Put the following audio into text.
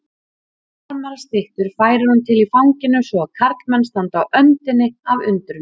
Marmarastyttur færir hún til í fanginu svo að karlmenn standa á öndinni af undrun.